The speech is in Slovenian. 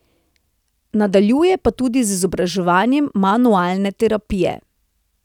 Nadaljuje pa tudi z izobraževanjem manualne terapije.